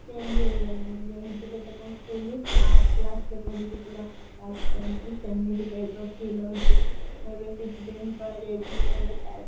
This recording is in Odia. change ହେଇଗଲାଣି ଯେମିତି କି ଗୋଟେ ଥର ମୁଁ ଶୁଣିଲି smart class ଯୋଉ CBSE ପିଲା ମାନେ class କରନ୍ତି ସେମିତି type ର school ହେଇଛି ମୁଁ ଏବେ କିଛି ଦିନ ତଳେ ଯାଇଥିଲି